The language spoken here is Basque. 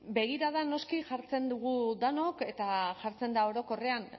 begirada noski jartzen dugu denok eta jartzen da orokorrean